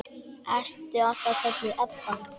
Ertu alltaf kölluð Ebba?